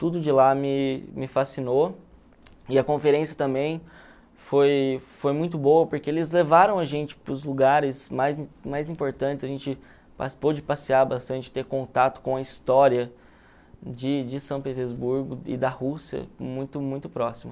tudo de lá me me fascinou, e a conferência também foi foi muito boa, porque eles levaram a gente para os lugares mais mais importantes, a gente passear bastante ter contato com a história de de São Petersburgo e da Rússia, muito, muito próxima.